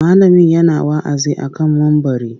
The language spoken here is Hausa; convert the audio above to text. Malamin yana wa'azi a kan mumbari.